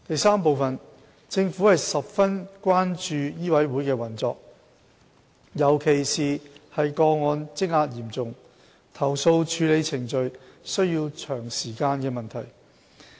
三政府十分關注醫委會的運作，尤其是個案積壓嚴重，投訴處理程序需時長的問題。